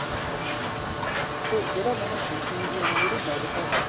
ਕਰ ਸਕਦੇ ਆ ਤੇ ਜਿਹੜਾ ਮੈਨੂੰ BP ਦੀ ਜਿਹੜੀ medicine ਏ